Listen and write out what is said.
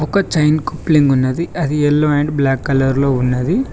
ఒక chain coupling ఉన్నది అది ఎల్లో అండ్ బ్లాక్ కలర్ లో ఉన్నది.